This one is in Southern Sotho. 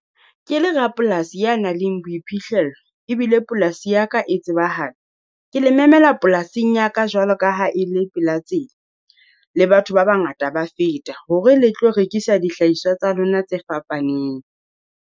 Ke le ra polasi ya nang le boiphihlello, ebile polasi ya ka e tsebahala. Ke le memela polasing ya ka jwalo ka ha e le pela tsela, le batho ba bangata ba feta hore le tlo rekisa dihlahiswa tsa lona tse fapaneng.